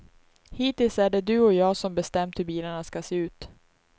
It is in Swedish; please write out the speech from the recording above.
Hittills är det du och jag som bestämt hur bilarna ska se ut.